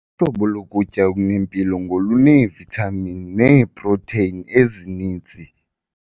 Uhlobo lokutya okunempilo ngoluneevithamini neeprotheyini ezininzi.